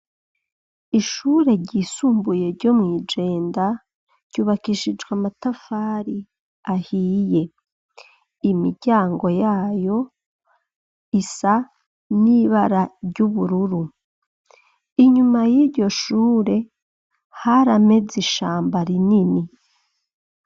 Ishure ryisumbuye ryo mw'i Jenda ryubakishijwe amatafari ahiye, imiryango yayo isa n'ibara ry'ubururu, inyuma y'iryo shure harameze ishamba rinini.